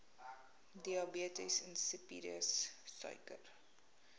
diabetes insipidus suiker